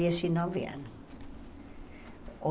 dezenove anos, ou